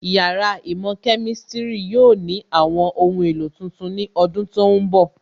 Yàrá īmò Kemistiri yóò ní àwọn ohun èlò tuntun ní ọdún tó ń bọ̀